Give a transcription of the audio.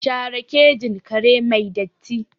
Share kejin kare mai datti!